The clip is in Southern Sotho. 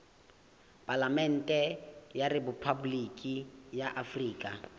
palamente ya rephaboliki ya afrika